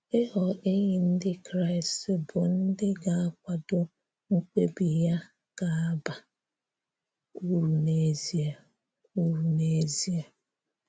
Ị́ghọ̀ enyì Ndị́ Kraị́st bụ́ ndị́ ga-akwadò mkpebi ya ga-aba uru n’ezìe. uru n’ezìe.